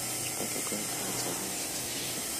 что такое голосовой ассистент